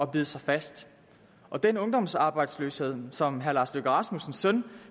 bide sig fast og den ungdomsarbejdsløshed som herre lars løkke rasmussens søn